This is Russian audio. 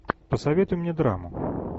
посоветуй мне драму